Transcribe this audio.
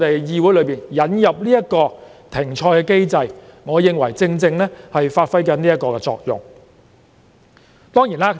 議會這次引入停賽機制，我認為正好發揮這作用。